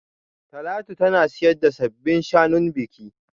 Talatu tana siyan sabbin shanun biki